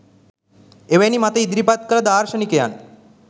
එවැනි මත ඉදරිපත් කළ දාර්ශනිකයන්